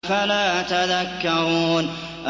أَفَلَا تَذَكَّرُونَ